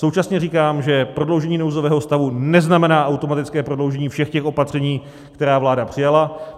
Současně říkám, že prodloužení nouzového stavu neznamená automatické prodloužení všech těch opatření, která vláda přijala.